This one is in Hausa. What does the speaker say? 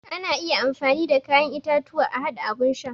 Ana iya amfani da kayan itatuwa a haɗa abun sha